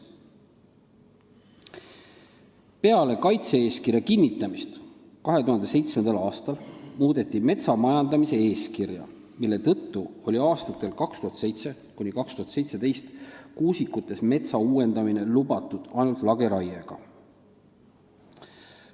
Peale kaitse-eeskirja kinnitamist 2007. aastal muudeti metsa majandamise eeskirja, mille tõttu oli aastatel 2007–2017 kuusikutes lubatud metsa uuendada ainult lageraiega.